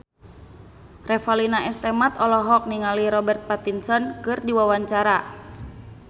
Revalina S. Temat olohok ningali Robert Pattinson keur diwawancara